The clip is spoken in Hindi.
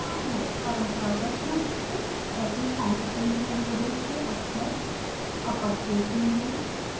परंपरागत रूप से ऐसे constant variables के अक्षर अपरकेस में हैं